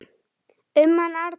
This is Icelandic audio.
Um hann Arnar.